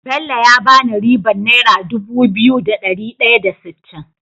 Bello ya bani ribar naira dubu biyu da dari daya da sittin